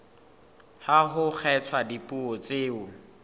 ha ho kgethwa dipuo tseo